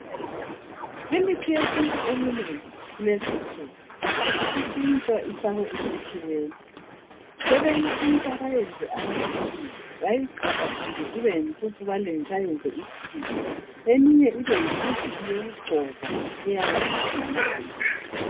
Imithi yesintu eminengi kulezi insuku, isitshintshwa ifakwe esilungwini. Sebeyitshintsha bayiyenze amaphilisi, bayigqunda gqunde ibeyimpuphu bayiyenze amaphilisi, eminye ibeyimithi yokugcoba isale isingamanzi.